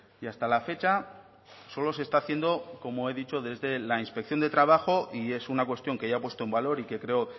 y hasta la fecha solo se está haciendo como he dicho desde la inspección de trabajo y es una cuestión que ya he puesto en valor y que creo